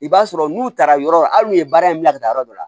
I b'a sɔrɔ n'u taara yɔrɔ hali n'u ye baara in bila ka taa yɔrɔ dɔ la